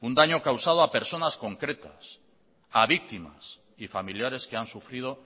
un daño causado a personas concretas a víctimas y familiares que han sufrido